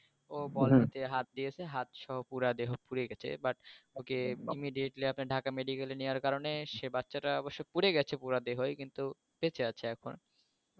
ও বল আনতে হাত দিয়েছে হাতসহ পুরা দেহ পুড়ে গেছে bu okay immediately আপনার ঢাকা medical নেওয়ার কারনে সে বাচ্চাটা অবশ্য পুড়ে গেছে পুরা দেহই কিন্তু বেঁচে আছে এখনো